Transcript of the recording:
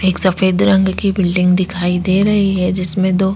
एक सफेद रंग की बिल्डिंग दिखाई दे रही है जिसमे दो--